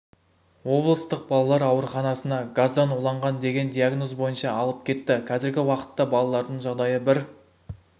облыстық балалар ауруханасына газдан уланған деген диагноз бойынша алып кетті қазіргі уақытта балалардың жағдайы бір